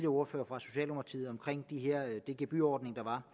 ordfører fra socialdemokratiet om den gebyrordning der